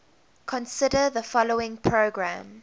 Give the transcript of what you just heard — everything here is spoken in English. consider the following program